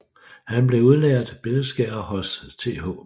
Han blev udlært billedskærer hos Th